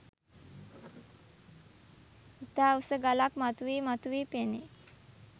ඉතා උස ගලක් මතුවී මතුවී පෙනේ.